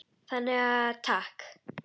Þannig að takk.